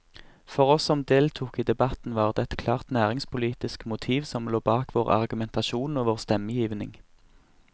For oss som deltok i debatten, var det et klart næringspolitisk motiv som lå bak vår argumentasjon og vår stemmegivning.